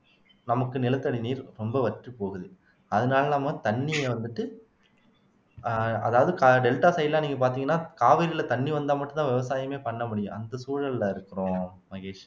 நமக்கு நிலத்தடி நீர் ரொம்ப வற்றிப் போகுது அதனால நம்ம தண்ணியை வந்துட்டு ஆஹ் அதாவது டெல்டா side லாம் நீங்க பார்த்தீங்கன்னா காவிரியில தண்ணி வந்தால் மட்டும்தான் விவசாயமே பண்ண முடியும் அந்த சூழல்ல இருக்கிறோம் மகேஷ்